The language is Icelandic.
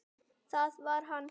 Þetta breytir engu fyrir mig.